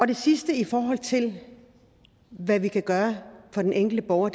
det sidste i forhold til hvad vi kan gøre for den enkelte borger